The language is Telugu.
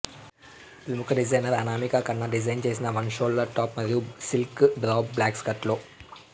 ప్రముఖ డిజైనర్ అనామికా కన్న డిజైన్ చేసి వన్ షోల్డర్ టాప్ మరియు సిల్క్ డ్రాప్ బ్లాక్ స్కర్ట్ లో